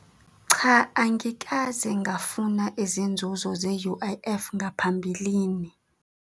Cha, angikaze ngafuna izinzuzo ze-U_I_F ngaphambilini.